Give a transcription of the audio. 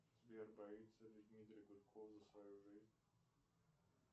сбер боится ли дмитрий гудков за свою жизнь